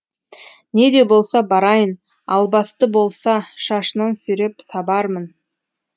не де болса барайын албасты болса шашынан сүйреп сабармын